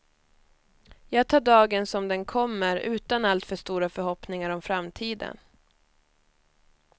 Jag tar dagen som den kommer, utan alltför stora förhoppningar om framtiden.